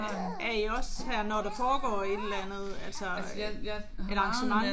Er I også her når der foregår et eller andet altså øh et arrangement?